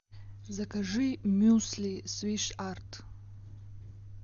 закажи мюсли свиш арт